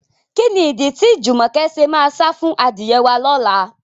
Kí ni ìdí tí Jùmọ̀kẹ́ ṣe máa sá fún adìyẹ wá lọ́la?